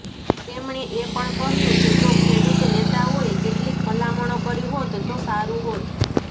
તેમણે એ પણ કહ્યું કે જો ખેડૂત નેતાઓએ કેટલીક ભલામણો કરી હોત તો સારું હોત